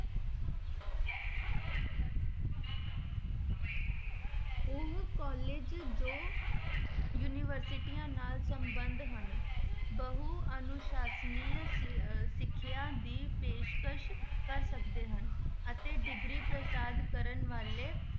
ਉਹ college ਜੋ ਯੂਨੀਵਰਸਟੀਆਂ ਨਾਲ ਸੰਬੰਧ ਹਨ ਬਹੁ ਅਨੁਸਾਸਨੀ ਸ~ ਅਹ ਸਿੱਖਿਆ ਦੀ ਪੇਸ਼ਕਸ ਕਰ ਸਕਦੇ ਹਨ, ਅਤੇ degree ਪ੍ਰਦਾਨ ਕਰਨ ਵਾਲੇ